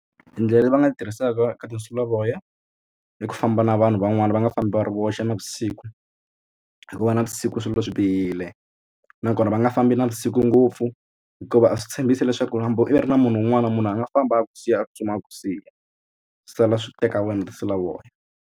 Tindlela leti va nga ti tirhisaka ka tinsulavoya i ku famba na vanhu van'wana va nga fambi va ri voxe navusiku hikuva navusiku swilo swi bihile nakona va nga fambi navusiku ngopfu hikuva a swi tshembisi leswaku hambi u ri na munhu un'wana na munhu a nga famba a ku siya a tsutsuma a ku siya sala swi teka wena tinsulavoya.